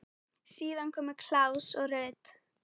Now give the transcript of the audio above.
Síðar komu Claus og Ruth.